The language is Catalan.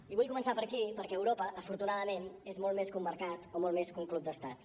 i vull començar per aquí perquè europa afortunadament és molt més que un mercat o molt més que un club d’estats